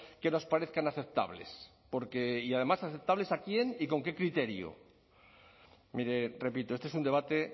que nos parezcan aceptables porque y además aceptables a quién y con qué criterio mire repito este es un debate